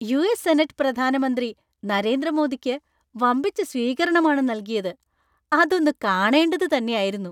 U. S. Senate പ്രധാനമന്ത്രി നരേന്ദ്ര മോദിക്ക് വമ്പിച്ച സ്വീകരണമാണ് നൽകിയത്; അതൊന്ന് കാണേണ്ടത് തന്നെയായിരുന്നു.